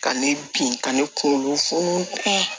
Ka ne bin ka ne kunkolo funu